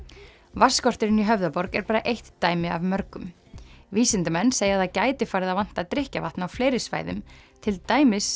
vatnsskorturinn í Höfðaborg er bara eitt dæmi af mörgum vísindamenn segja að það gæti farið að vanta drykkjarvatn á fleiri svæðum til dæmis